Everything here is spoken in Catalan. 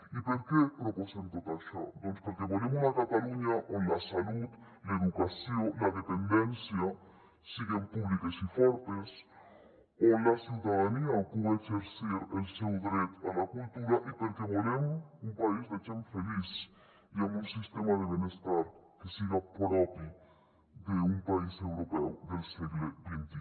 i per què proposem tot això doncs perquè volem una catalunya on la salut l’educació la dependència siguen públiques i fortes on la ciutadania puga exercir el seu dret a la cultura i perquè volem un país de gent feliç i amb un sistema de benestar que siga propi d’un país europeu del segle xxi